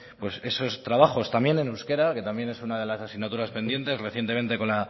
esos trabajos también en euskera que también es una de las asignaturas pendientes recientemente con